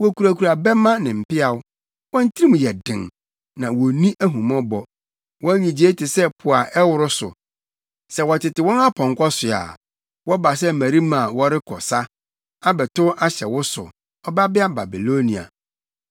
Wokurakura bɛmma ne mpeaw; wɔn tirim yɛ den, na wonni ahummɔbɔ. Wɔn nnyigyei te sɛ po a ɛworo so. Sɛ wɔtete wɔn apɔnkɔ so a, wɔba sɛ mmarima a wɔrekɔ sa abɛtow ahyɛ wo so, Ɔbabea Babilonia.